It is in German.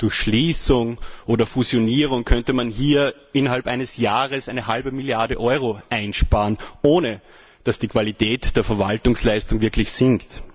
Durch Schließung oder Fusionierung könnte man hier innerhalb eines Jahres eine halbe Milliarde Euro einsparen, ohne dass die Qualität der Verwaltungsleistung wirklich sinkt.